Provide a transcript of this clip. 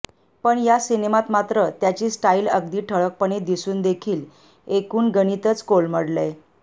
पण या सिनेमात मात्र त्याची स्टाईल अगदी ठळकपणे दिसूनदेखील एकूण गणितच कोलमडलंय